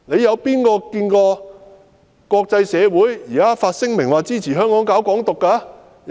有誰看過國際社會發聲明說支持香港搞"港獨"？